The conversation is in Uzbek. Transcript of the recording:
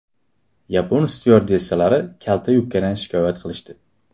Yapon styuardessalari kalta yubkadan shikoyat qilishdi.